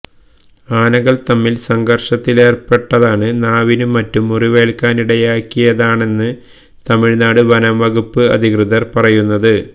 ആനകൾ തമ്മിൽ സംഘർഷത്തിലേർപ്പെട്ടതാണ് നാവിനും മറ്റും മുറിവേൽക്കാനിടയാക്കിയതെന്നാണ് തമിഴ്നാട് വനംവകുപ്പ് അധികൃതർ പറയുന്നത്